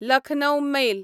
Lucknow mail